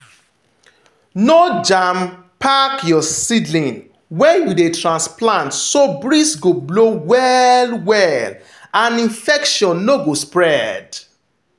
no jam-pack your seedlings when you dey transplant so breeze go blow well well and infection no go spread.